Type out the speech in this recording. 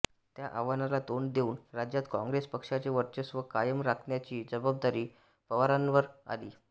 त्या आव्हानाला तोंड देऊन राज्यात काँग्रेस पक्षाचे वर्चस्व कायम राखण्याची जबाबदारी पवारांवर आली